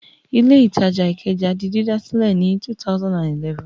Ilé-ìtajà Ìkẹjà di dídà sílẹ̀ ní 2011.